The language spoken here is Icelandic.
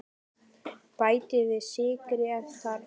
Bætið við sykri ef þarf.